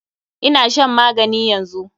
Ina shan magani yanzu.